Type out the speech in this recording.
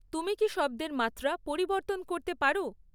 তুমি কি শব্দের মাত্রা পরিবর্তন করতে পারো?